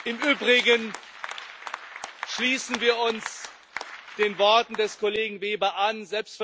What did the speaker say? Im Übrigen schließen wir uns den Worten des Kollegen Weber an.